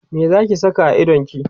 me Zaki Saka a idonki?